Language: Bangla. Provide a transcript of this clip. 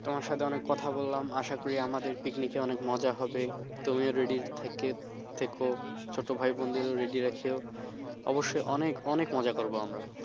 তোমার সাথে অনেক কথা বললাম আশা করি আমাদের picnic অনেক মজা হবে তুমিও ready থেকে থেকো ছোট ভাই বোনদেরও ready রাখিও অবশ্যই অনেক অনেক মজা করব আমরা ।